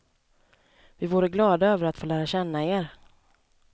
Vi vore glada över att få lära känna er.